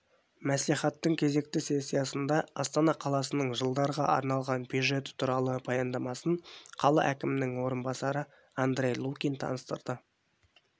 мәслихаттың кезекті сессиясында астана қаласының жылдарға арналған бюджеті туралы баяндамасын қала әкімінің орынбасары андрей лукин таныстырды